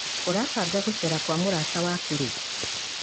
ũrabanga gũcera kwa mũrata waku rĩ?